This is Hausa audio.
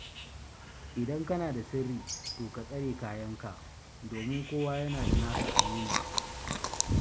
Idan kana da sirri to ka tsare kayanka, domin kowa yana da nasa aminin.